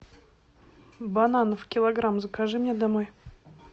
бананов килограмм закажи мне домой